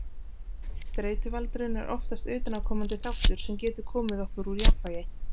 Streituvaldurinn er oftast utanaðkomandi þáttur sem getur komið okkur úr jafnvægi.